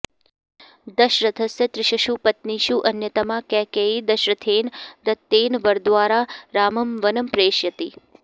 दशरथस्य तिसृषु पत्नीषु अन्यतमा कैकेयी दशरथेन दत्तेन वरद्वारा रामं वनं प्रेषयति